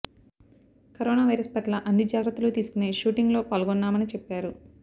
corona virus పట్ల అన్ని జాగ్రత్తలు తీసుకొనే షూటింగ్ లో పాల్గొన్నామనిచెప్పారు